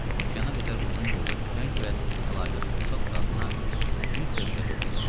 Okeana qədər uzun yolda tüfəng və əlavə sursat qadına mütləq gərək olacaqdı.